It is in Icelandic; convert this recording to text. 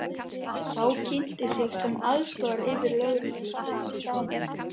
Sá kynnti sig sem aðstoðaryfirlögregluþjón staðarins.